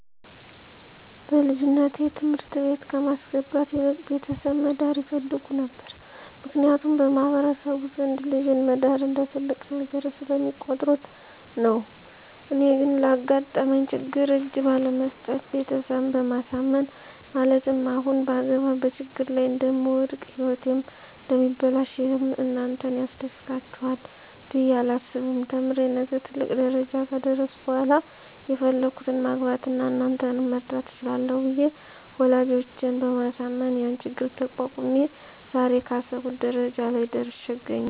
በልጅነቴ ትምህርት ቤት ከማስገባት ይልቅ ቤተሰብ መዳር ይፈልጉ ነበር ምክንያቱም በማህበረሰቡ ዘንድ ልጅን መዳር እንደ ትልቅ ነገር ስለሚቆጥሩት ነው። እኔ ግን ላጋጠመኝ ችግር እጅ ባለመስጠት ቤተሰብን በማሳመን ማለትም አሁን ባገባ በችግር ላይ እደምወድቅ ህይወቴም እደሚበላሽ ይህም እናንተን ያስደስታችሇል ብየ አላስብም ተምሬ ነገ ትልቅ ደረጃ ከደረስሁ በሇላ የፈለግሁትን ማግባት አና እናንተንም መርዳት እችላለሁ ብየ ወላጆቸን በማሳመን ያን ችግር ተቋቁሜ ዛሬ ካሰብሁት ደረጃ ላይ ደርሽ አገኛለሁ።